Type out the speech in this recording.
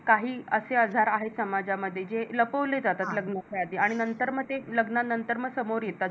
काही असे आजार आहेत समजामध्ये जे लपवले जातात लग्नाच्या आधी आणि नंतर मग ते लग्नानंतर समोर येतात.